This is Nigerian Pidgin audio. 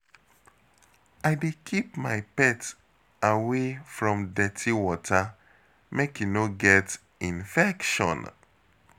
I dey keep my pet away from dirty water, make e no get infection.